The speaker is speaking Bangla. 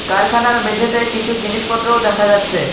কারখানার মেঝেতে কিছু জিনিসপত্রও দেখা যাচ্ছে।